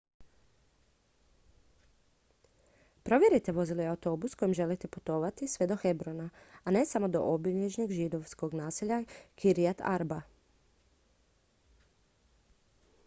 provjerite vozi li autobus kojim želite putovati sve do hebrona a ne samo do obližnjeg židovskog naselja kiryat arba